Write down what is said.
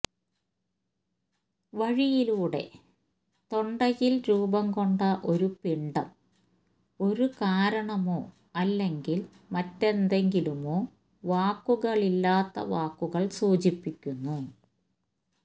വഴിയിലൂടെ തൊണ്ടയിൽ രൂപംകൊണ്ട ഒരു പിണ്ഡം ഒരു കാരണമോ അല്ലെങ്കിൽ മറ്റെന്തെങ്കിലുമോ വാക്കുകളില്ലാത്ത വാക്കുകൾ സൂചിപ്പിക്കുന്നു